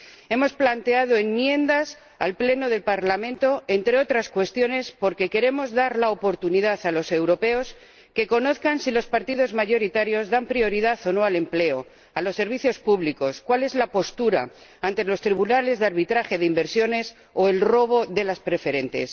Hemos presentado enmiendas en el Pleno del Parlamento, entre otras cuestiones, porque queremos dar la oportunidad a los europeos de que conozcan si los partidos mayoritarios dan prioridad o no al empleo, a los servicios públicos, cuál es la postura ante los tribunales de arbitraje de inversiones o el robo de las preferentes.